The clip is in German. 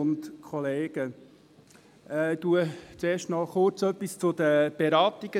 Ich sage erst kurz etwas zu den Beratungen.